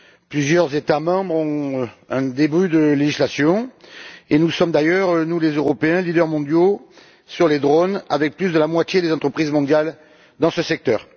Plusieurs États membres ont un début de législation et nous sommes d'ailleurs, nous les Européens, leaders mondiaux des drones, avec plus de la moitié des entreprises mondiales dans ce secteur.